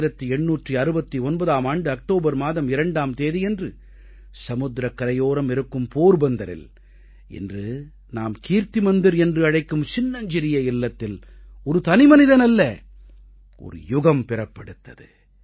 1869ஆம் ஆண்டு அக்டோபர் மாதம் 2ஆம் தேதியன்று சமுத்திரக் கரையோரம் இருக்கும் போர்பந்தரில் இன்று நாம் கீர்த்தி மந்திர் என்று அழைக்கும் சின்னஞ்சிறிய இல்லத்தில் ஒரு தனிமனிதன் அல்ல ஒரு யுகம் பிறப்பெடுத்தது